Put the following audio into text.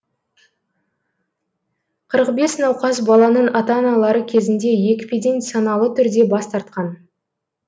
қырық бес науқас баланың ата аналары кезінде екпеден саналы түрде бас тартқан